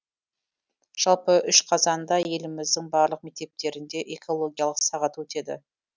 жалпы үш қазанда еліміздің барлық мектептерінде экологиялық сағат өтеді